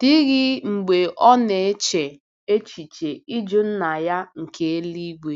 dịghị mgbe ọ na-eche echiche ịjụ Nna ya nke eluigwe.